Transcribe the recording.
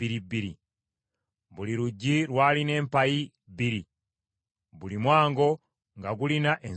Buli luggi lwalina empayi bbiri, buli mwango nga gulina enzigi bbiri.